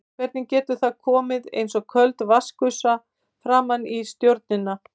Hvernig getur það komið eins og köld vatnsgusa framan í stjórnina?